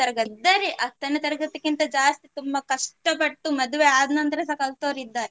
ತರಗತಿ. ಇದ್ದಾರೆ ಹತ್ತನೇ ತರಗತಿಕ್ಕಿಂತ ಜಾಸ್ತಿ ತುಂಬಾ ಕಷ್ಟ ಪಟ್ಟು ಮದುವೆ ಆದ ನಂತರ ಸಾ ಕಲ್ತವರು ಇದ್ದಾರೆ.